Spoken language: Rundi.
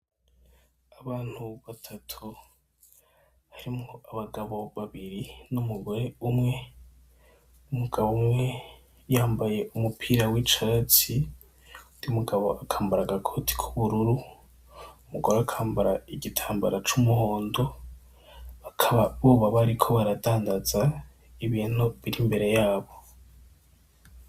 Abantu batatu harimwo abagabo babiri, n'umugore umwe, umugabo umwe yambaye umupira w'icatsi, uwundi mugabo akambara agakoti k'ubururu, umugore akambara igitambara c'umuhondo, bakaba boba bariko baradandaza ibintu biri imbere yabo.